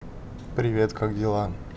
привет как дела